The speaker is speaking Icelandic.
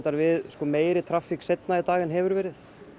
við meiri traffík seinna í dag en hefur verið